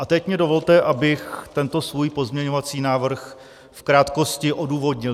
A teď mně dovolte, abych tento svůj pozměňovací návrh v krátkosti odůvodnil.